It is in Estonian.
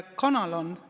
Kanal on.